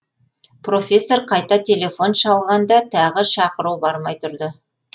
профессор қайта телефон шалғанда тағы шақыру бармай тұрды